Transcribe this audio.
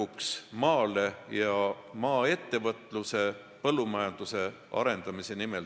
Me teeme seda kõike maaettevõtluse, põllumajanduse arendamise nimel.